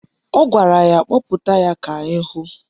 Ọ gwara ya kpọpụta ya ka anyị hụ